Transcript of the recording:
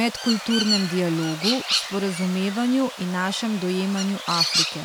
medkulturnem dialogu, sporazumevanju in našem dojemanju Afrike.